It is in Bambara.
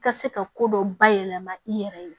Ka se ka ko dɔ bayɛlɛma i yɛrɛ ye